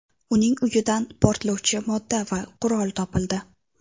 Uning uyidan portlovchi modda va qurol topildi.